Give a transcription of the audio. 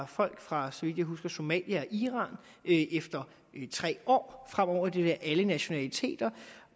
folk fra så vidt jeg husker somalia og iran efter tre år fremover vil det være alle nationaliteter